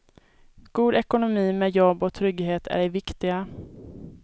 God ekonomi med jobb och trygghet är det viktiga.